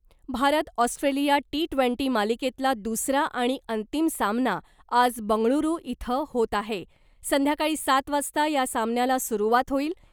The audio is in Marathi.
भारत ऑस्ट्रेलिया टी ट्वेंटी मालिकेतला दुसरा आणि अंतिम सामना आज बंगळुरू इथं होत आहे , संध्याकाळी सात वाजता या सामन्याला सुरुवात होईल .